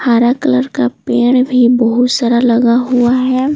हरा कलर का पेड़ भी बहुत सारा लगा हुआ है।